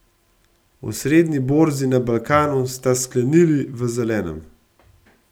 Osrednji borzi na Balkanu sta sklenili v zelenem.